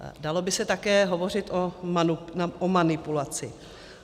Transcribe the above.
Dalo by se také hovořit o manipulaci.